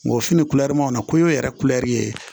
N ko fini na ko n ye yɛrɛ kulɛri ye